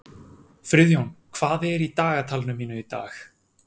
Friðjón, hvað er í dagatalinu mínu í dag?